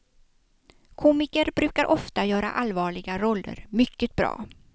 Komiker brukar ofta göra allvarliga roller mycket bra.